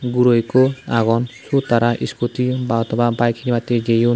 guro ikko agon sot tara iskuti bahoto ba baek hinibattey jeyon.